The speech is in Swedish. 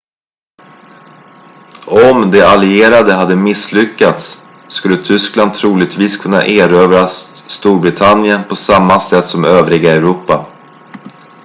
om de allierade hade misslyckats skulle tyskland troligtvis kunnat erövra storbritannien på samma sätt som övriga europa